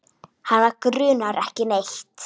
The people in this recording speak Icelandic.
Hana grunar ekki neitt.